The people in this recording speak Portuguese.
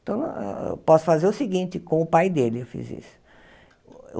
Então, eu posso fazer o seguinte, com o pai dele eu fiz isso.